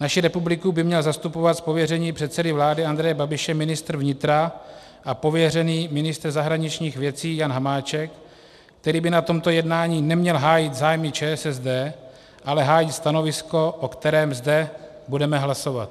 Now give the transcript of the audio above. Naši republiku by měl zastupovat z pověření předsedy vlády Andreje Babiše ministr vnitra a pověřený ministr zahraničních věcí Jan Hamáček, který by na tomto jednání neměl hájit zájmy ČSSD, ale hájit stanovisko, o kterém zde budeme hlasovat.